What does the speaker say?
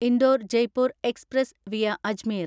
Indore Jaipur express via Ajmer